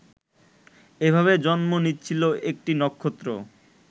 এভাবে জন্ম নিচ্ছিল একটি নক্ষত্র